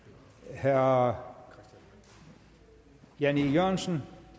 herre jan e jørgensen